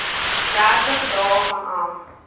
dertig dae vanaf